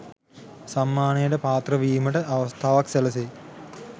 සම්මානයට පාත්‍ර වීමට අවස්ථාවක් සැලසෙයි.